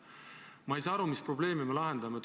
Ma ei saa aru, mis probleemi me lahendame.